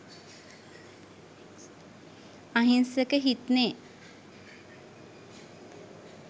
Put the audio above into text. අහිංසක හිත්නේ